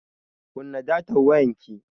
Kunna datan wayanki.